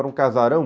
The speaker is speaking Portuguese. Era um casarão.